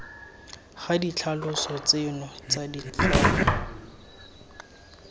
ga ditlhaloso tseno tsa ditlhogo